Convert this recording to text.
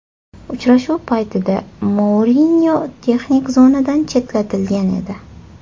Uchrashuv paytida Mourinyo texnik zonadan chetlatilgan edi .